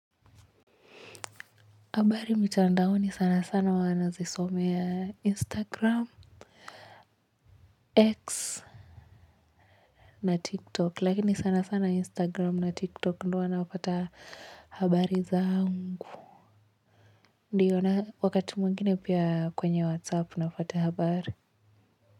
Habari mtandaoni sana sana huwa nazisomea Instagram, X na TikTok. Lakini sana sana Instagram na TikTok. Ndo huwa napata habari zaangu. Ndiyo wakati mwingine pia kwenye Whatsapp napata habari.